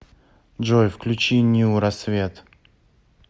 джой включи ню рассвет